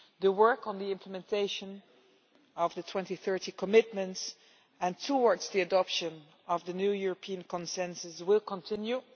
The work on the implementation of the 2030 commitments and towards the adoption of the new European consensus will continue.